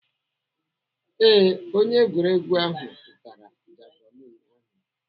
Ee, onye egwuregwu ahụ tụtara javilini ahụ.